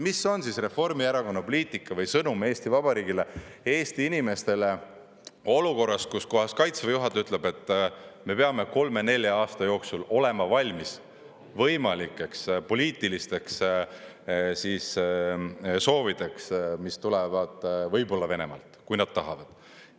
Mis on Reformierakonna poliitika või sõnum Eesti Vabariigile, Eesti inimestele olukorras, kus kohas Kaitseväe juhataja ütleb, et me peame kolme–nelja aasta jooksul olema valmis võimalikeks poliitilisteks soovideks, mis tulevad võib-olla Venemaalt, kui nad tahavad.